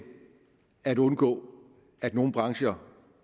at undgå at nogle brancher